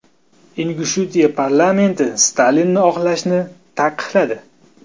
Ingushetiya parlamenti Stalinni oqlashni taqiqladi.